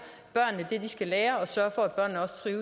det de skal lære og at